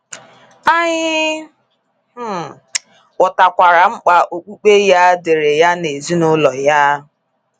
Anyị um ghọtakwara mkpa okpukpe ya dịịrị ya na ezinụlọ ya.